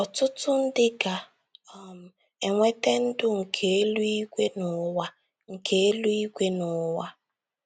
Ọtụtụ ndị ga - um enweta ndụ nke eluigwe n’ụwa nke eluigwe n’ụwa